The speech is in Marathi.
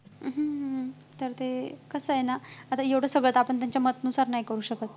अं हम्म हम्म तर ते कसं आहे ना आता एवढ्या सगळ्यात आपण त्यांच्या मतानुसार नाही करू शकत